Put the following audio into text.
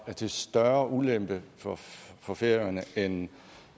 til større ulempe for færøerne end